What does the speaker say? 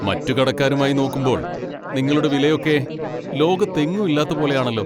മറ്റു കടക്കാരുമായി നോക്കുമ്പോൾ നിങ്ങളുടെ വിലയൊക്കെ ലോകത്തെങ്ങും ഇല്ലാത്ത പോലെയാണെല്ലോ.